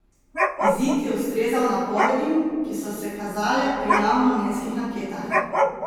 Izid je ustrezal napovedim, ki so se kazale pri javnomnenjskih anketah.